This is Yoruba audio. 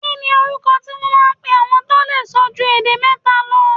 Kí ni orúkọ tí wón máa ń pe àwọn tó lè sọ ju èdè mẹ́ta lọ?